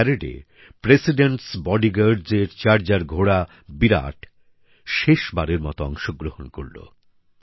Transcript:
এই প্যারেডে রাষ্ট্রপতির দেহরক্ষীর চার্জার ঘোড়া বিরাট শেষ বারের মতো অংশগ্রহণ করেছে